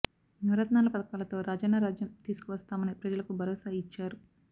నవరత్నాల పథకాలతో రాజన్న రాజ్యం తీసుకు వస్తామని ప్రజలకు భరోసా ఇచ్చారు